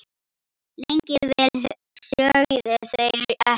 Lengi vel sögðu þau ekkert.